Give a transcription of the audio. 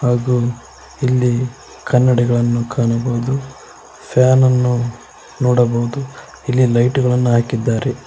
ಹಾಗು ಇಲ್ಲಿ ಕನ್ನಡಿಗಳನ್ನು ಕಾಣಬೋದು ಫ್ಯಾನನ್ನು ನೋಡಬಹುದು ಇಲ್ಲಿ ಲೈಟು ಗಳನ್ನ ಹಾಕಿದ್ದಾರೆ.